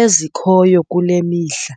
ezikhoyo kule mihla.